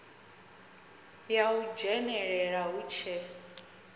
ya u dzhenelela hu tshe